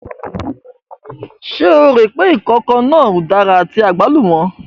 Ṣé o rò pé ǹkan kan náà udara àti àgbálùmọ̀?